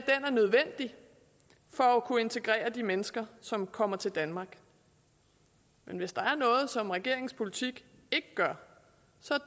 er nødvendig for at kunne integrere de mennesker som kommer til danmark men hvis der er noget som regeringens politik ikke gør så